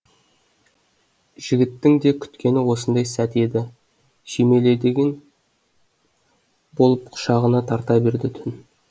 жігіттің де күткені осындай сәт еді болып құшағына тарта берді түн